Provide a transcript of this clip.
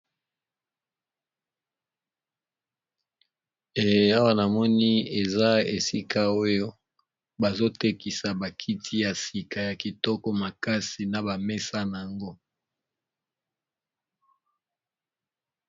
Awa namoni eza esika oyo bazo tekisa ba kiti ya sika makasi na ba mesa nayango.